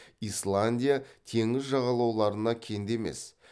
исландия теңіз жануарларына кенде емес